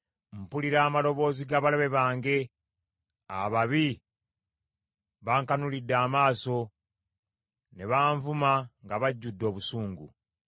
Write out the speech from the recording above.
Mpulira amaloboozi g’abalabe bange; ababi bankanulidde amaaso ne banvuma nga bajjudde obusungu.